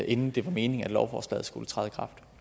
inden det var meningen at lovforslaget skulle træde